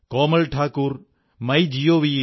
Komal Thakur my G O V